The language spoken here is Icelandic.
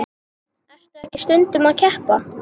Ertu ekki stundum að keppa?